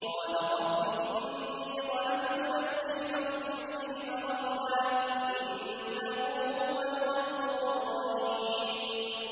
قَالَ رَبِّ إِنِّي ظَلَمْتُ نَفْسِي فَاغْفِرْ لِي فَغَفَرَ لَهُ ۚ إِنَّهُ هُوَ الْغَفُورُ الرَّحِيمُ